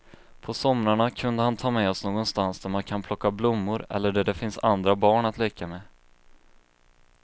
På somrarna kunde han ta med oss någonstans där man kan plocka blommor eller där det finns andra barn att leka med.